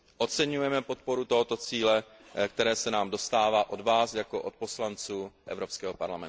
Oceňujeme podporu tohoto cíle, které se nám dostává od vás jako od poslanců Evropského parlamentu.